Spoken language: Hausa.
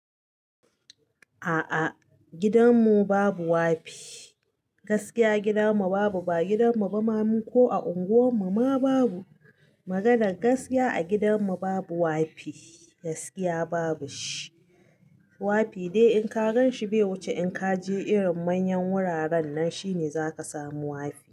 A'a gidan mu babu wafi, gaskiya gidan mu babu ba a gidan mu ba ma mu ko a unguwan mu ma babu. Maganar gaskiya a gidan mu babu wafi, gaskiya babu shi. Wafi dai in ka gan shi bai wuce in ka je irin manyan wuraren nan shine zaka samu wafi.